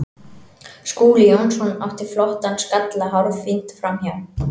Skúli Jónsson átti flottan skalla hárfínt framhjá.